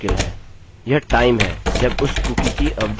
यह टाइम है जब उस कुकी की अवधि समाप्त होती है